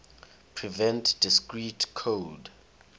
prevent discrete code